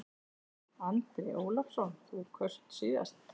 Andri Ólafsson: Þú kaust síðast?